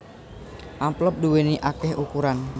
Amplop duwèni akéh ukuran